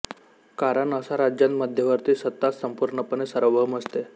कारण असा राज्यांत मध्यवर्ती सत्ताच संपूर्णपणे सार्वभौम असते